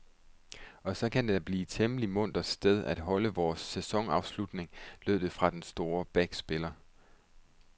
Og så kan det det da blive et temmelig muntert sted at holde vores sæsonafslutning, lød det fra den store backspiller.